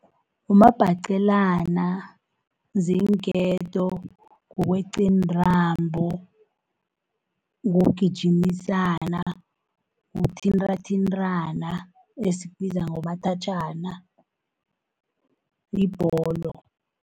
Umabhacelana, ziinketo, kukweqa iintambo, kugijimisana, kuthintathintana esikubiza ngomathatjhana, yibholo.